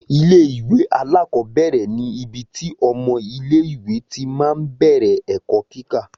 Ilé ìwé alákọ̀ọ́bẹ̀rẹ̀ ní ibi tí ọmọ ilé ìwé tí máa ń bẹ̀rẹ̀ ẹ̀kọ́ kíkà